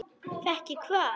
Fékk ég hvað?